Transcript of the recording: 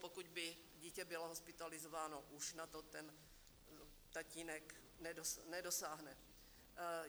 Pokud by dítě bylo hospitalizováno, už na to ten tatínek nedosáhne.